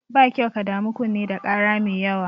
Ba kyau ka damu kunne da ƙara mai yawa.